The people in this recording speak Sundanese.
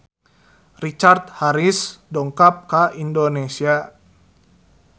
Richard Harris dongkap ka Indonesia